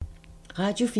Radio 4